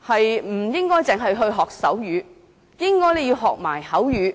不應該只學習手語，亦應該學習口語。